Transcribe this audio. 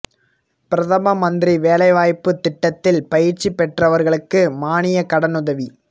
பிரதம மந்திரி வேலை வாய்ப்புத் திட்டத்தில் பயிற்சி பெற்றவா்களுக்கு மானிய கடனுதவி